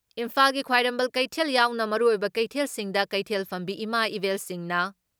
ꯏꯝꯐꯥꯜꯒꯤ ꯈ꯭ꯋꯥꯏꯔꯝꯕꯟ ꯀꯩꯊꯦꯜ ꯌꯥꯎꯅ ꯃꯔꯨꯑꯣꯏꯕ ꯀꯩꯊꯦꯜꯁꯤꯡꯗ ꯀꯩꯊꯦꯜ ꯐꯝꯕꯤ ꯏꯃꯥ ꯏꯕꯦꯜꯁꯤꯡꯅ